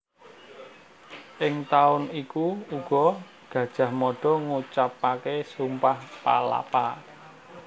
Ing taun iku uga Gajah Mada ngucapaké Sumpah Palapa